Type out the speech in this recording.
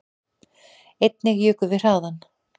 Einnig jukum við hraðann